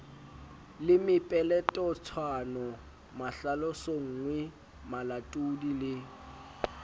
le mepeletotshwano mahlalosonngwe malatodi le